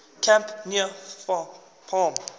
camp near palm